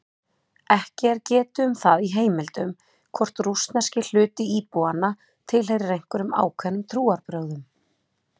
Ekki er getið um það í heimildum hvort rússneski hluti íbúanna tilheyrir einhverjum ákveðnum trúarbrögðum.